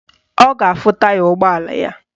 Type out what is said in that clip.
Ọ ga-afụ taya ụgbọala ya.